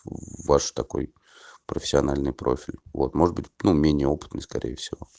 ваш такой профессиональный профиль вот может быть ну мение опытный скорее всего